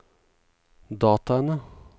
dataene